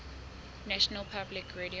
national public radio